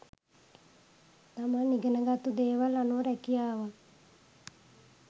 තමන් ඉගෙන ගත්තු දේවල් අනුව රුකියාවක්